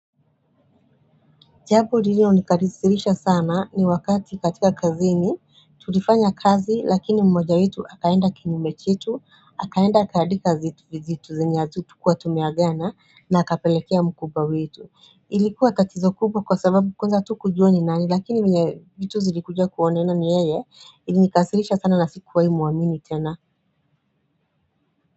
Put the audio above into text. Japo lililo nikasirisha sana ni wakati katika kazini tutifanya kazi lakini mmoja wetu akaenda kinyume chetu akaenda akaandika zitu vizitu zenye hatukuwa tumeagana na apelekea mkubwa wetu. Ilikuwa tatizo kubwa kwa sababu kwanza hatukuja ni nani lakini mwenye zitu zilikuja kuonena ni yeye ilikasisirisha sana na sikuwahii muamini tena.